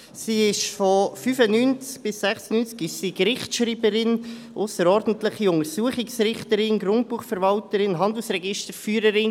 Sie war von 1995 bis 1996 Gerichtsschreiberin, ausserordentliche Untersuchungsrichterin, Grundbuchverwalterin und Handelsregisterführerin.